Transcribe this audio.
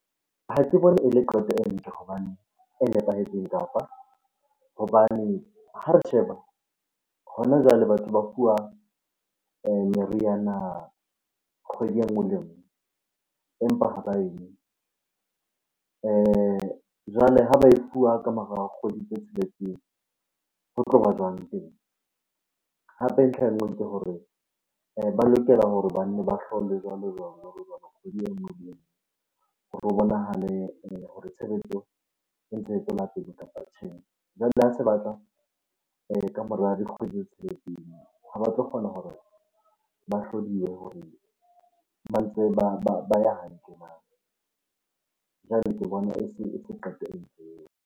Ha ke bone e le qeto e hobane e nepahetseng kapa hobane ha re sheba hona jwale batho ba fuwa meriana kgwedi e nngwe le e nngwe empa ha ba e nwe. Jwale ha ba e fuwa ka mora kgwedi tse tsheletseng, ho tloba jwang . Hape ntlha e nngwe ke hore ba lokela hore banne ba hlolwe jwalo-jwalo, jwalo-jwalo kgwedi e nngwe le enngwe ho bonahale hore tshebetso e ntse e tswela pele kapa tjhe. Jwale ha se batla ka mora dikgwedi tse ha ba tlo kgona hore ba hore ba ntse ba ya hantle nah? Jwale ke bona e se qeto .